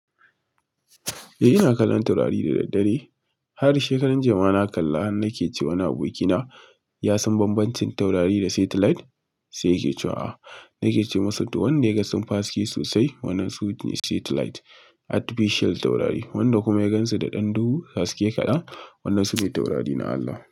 Eh, ina kallon taurari da daddare. Har shekaran jiya ma na kalla. Nake ce wa wani abokina ya san bambancin taurari da satellite. Sai yake cewa a'a. Nake ce masa, to wanne yaga sun fi haske sosai? Wannan su ne satellite, artificial taurari. Wanda kuma ya gansu da ɗan duhu, haske kaɗan, wannan su ne taurari na Allah.